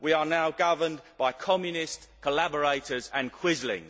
We are now governed by communists, collaborators and quislings.